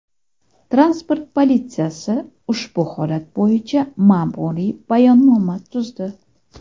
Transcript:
Transport politsiyasi ushbu holat bo‘yicha ma’muriy bayonnoma tuzdi.